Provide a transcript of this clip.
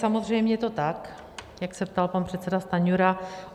Samozřejmě je to tak, jak se ptal pan předseda Stanjura.